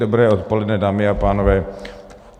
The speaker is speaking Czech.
Dobré odpoledne, dámy a pánové.